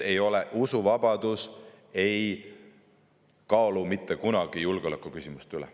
Usuvabadus ei kaalu mitte kunagi üles julgeolekuküsimusi.